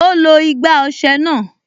Ó lo igbá ọsẹ náà